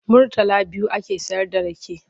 Murtala biyu ake sayarda rake.